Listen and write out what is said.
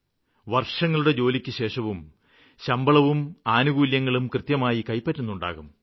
വര്ഷങ്ങളുടെ ജോലിക്കുശേഷവും ശമ്പളവും ആനുകൂല്യങ്ങളും കൃത്യമായും കൈപ്പറ്റുന്നുണ്ടാകും